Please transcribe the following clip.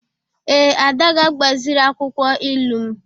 Ee, Ada ga-agbaziri akwụkwọ ilu m.